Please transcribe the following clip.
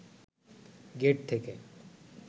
gate থেকে